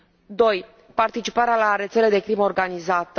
2 participarea la rețele de crimă organizată